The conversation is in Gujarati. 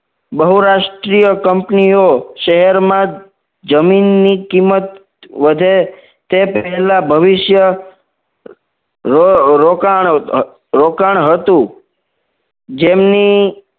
બહુરાષ્ટ્રીઅ કંપનીઓ શહેરમાં જમીનની કિંમત વધે તે પહેલા ભવિષ્ય રોકાણ રોકાણ હતું જેમની